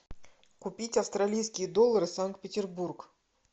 купить австралийские доллары санкт петербург